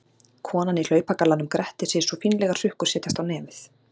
Konan í hlaupagallanum grettir sig svo fínlegar hrukkur setjast á nefið.